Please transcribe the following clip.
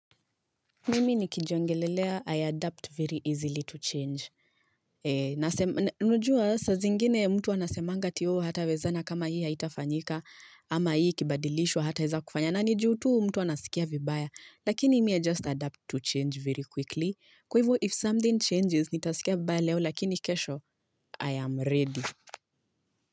Mimi nikijiongelelea I adapt very easily to change unajua sa zingine mtu wanasemanga ati ooh hatawezana kama hii haitafanyika ama hii ikibadilishwa hata weza kufanya na ni ju tu mtu anasikia vibaya lakini mimi i just adapt to change very quickly kwa hivyo if something changes nitasikia vibaya leo lakini kesho I am ready.